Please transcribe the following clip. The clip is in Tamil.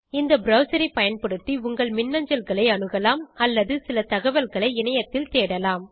இந்த ப்ரவ்சர் ஐ பயன்படுத்தி உங்கள் மின்னஞ்சல்களை அணுகலாம் அல்லது சில தகவல்களை இணையத்தில் தேடலாம்